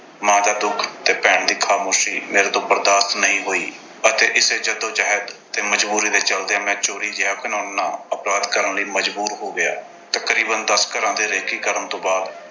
ਮਾਂ ਦਾ ਦੁੱਖ ਤੇ ਭੈਣ ਦੀ ਖਾਮੋਸ਼ੀ ਮੇਰੇ ਤੋਂ ਬਰਦਾਸ਼ਤ ਨਹੀਂ ਹੋਈ ਅਤੇ ਇਸੇ ਜੱਦੋ-ਜਹਿਦ ਤੇ ਮਜ਼ਬੂਰੀ ਦੇ ਚਲਦਿਆਂ ਮੈਂ ਚੋਰੀ ਜਿਹਾ ਘਿਨਾਉਣਾ ਅਪਰਾਧ ਕਰਨ ਲਈ ਮਜ਼ਬੂਰ ਹੋ ਗਿਆ। ਤਕਰੀਬਨ ਦਸ ਘਰਾਂ ਦੀ recce ਕਰਨ ਤੋਂ ਬਾਅਦ